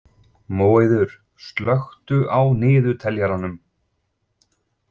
Móeiður, slökktu á niðurteljaranum.